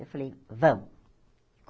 Eu falei, vamos.